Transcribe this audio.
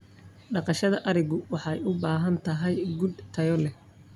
Dhaqashada arigu waxay u baahan tahay quud tayo leh.